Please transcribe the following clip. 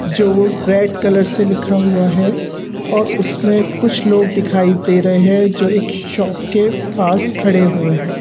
जो red colour से लिखा हुआ है और उसमें कुछ लोग दिखाई दे रहे हैं जो एक शॉप के पास खड़े हुए हैं।